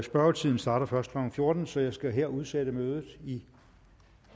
spørgetiden starter først klokken fjorten så jeg skal her udsætte mødet i